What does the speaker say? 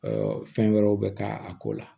fɛn wɛrɛw bɛ k'a ko la